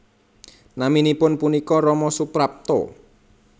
Naminipun punika Rama Suprapto